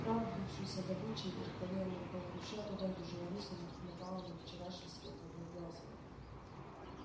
отправившись за добычей вверх по левому рукаву ручья туда где жила рысь она напала на вчерашний след одноглазого